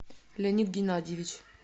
леонид геннадьевич